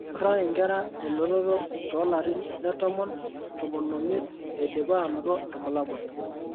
Kituraa inkera elototo too larin le 10 15 eidipa aanoto irbulabol.